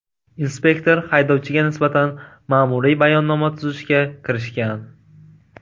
Inspektor haydovchiga nisbatan ma’muriy bayonnoma tuzishga kirishgan.